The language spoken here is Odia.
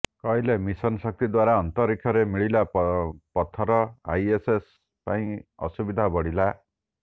କହିଲେ ମିଶନ୍ ଶକ୍ତି ଦ୍ୱାରା ଅନ୍ତରୀକ୍ଷରେ ମିଳିଲା ପଥର ଆଇଏସଏସ୍ ପାଇଁ ଅସୁବିଧା ବଢିଲା